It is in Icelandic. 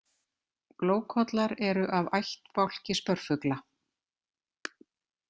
Glókollar eru af ættbálki spörfugla.